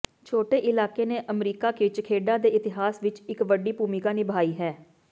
ਛੋਟੇ ਇਲਾਕੇ ਨੇ ਅਮਰੀਕਾ ਵਿਚ ਖੇਡਾਂ ਦੇ ਇਤਿਹਾਸ ਵਿਚ ਇਕ ਵੱਡੀ ਭੂਮਿਕਾ ਨਿਭਾਈ ਹੈ